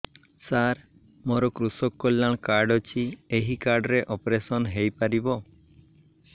ସାର ମୋର କୃଷକ କଲ୍ୟାଣ କାର୍ଡ ଅଛି ଏହି କାର୍ଡ ରେ ଅପେରସନ ହେଇପାରିବ